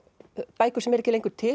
bækur sem eru ekki lengur til